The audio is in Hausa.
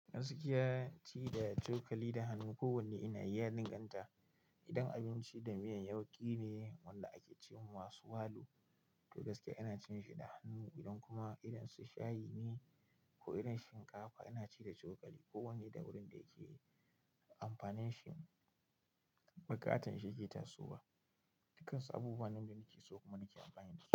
Gaskiya, ci da cokali da hannu. Ko wanne ina iya yadanganta. Idan abinci da miyan yauƙi ne wanda ake ce wa masu walu, to gaskiya ina cin shi da hannu. Idan kuma irin su shayi ne ko irin shinkafa, ina ci da cokali. Ko wanne da wurin da yake amfanin shi, buƙatan shi ke tasowa. Dukansu abubuwan nan na ke so kuma na ke amfani da shi.